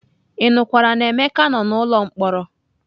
Ị nụkwara na Emeka nọ n'ụlọ mkpọrọ?